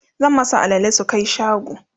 zan masu alale su Kai shago